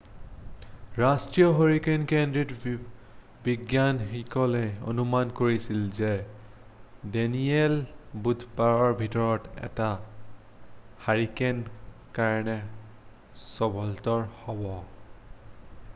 ৰাষ্ট্ৰীয় হাৰিকেন কেন্দ্ৰত বিজ্ঞানীসকলে অনুমান কৰিছিল যে ডেনিয়েল বুধবাৰৰ ভিতৰত এটা হাৰিকেনৰ কাৰণে সবলতৰ হ'ব৷